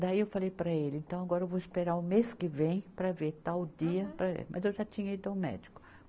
Daí eu falei para ele, então agora eu vou esperar o mês que vem para ver tal dia, mas eu já tinha ido ao médico.